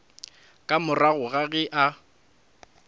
ka morago ga ge a